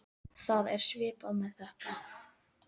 Það er svipað með þetta.